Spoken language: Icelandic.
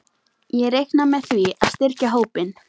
Ég reikna með því að styrkja hópinn.